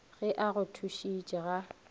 ge a go thušitše ga